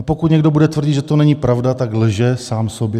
A pokud někdo bude tvrdit, že to není pravda, tak lže sám sobě.